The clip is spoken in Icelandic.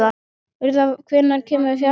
Urðar, hvenær kemur fjarkinn?